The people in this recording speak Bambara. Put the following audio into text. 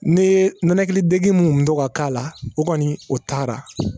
Ne ye nɛnɛkili dege mun to ka k'a la o kɔni o taara